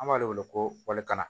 An b'ale wele ko walikanna